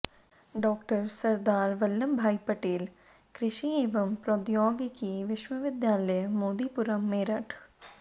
डॉ॰सरदार वल्लभभाई पटेल कृषि एंव प्रौद्योगिकी विश्वविद्यालय मोदीपुरम मेरठ